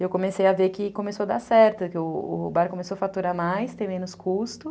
E eu comecei a ver que começou a dar certo, que o bar começou a faturar mais, tem menos custo.